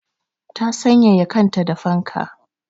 Ta sanyaya kanta da fanka.